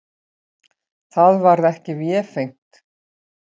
Það varð ekki vefengt.